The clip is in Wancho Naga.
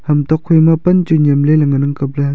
ham tokphai ma pan chu nyemley ley ngan ang kapley.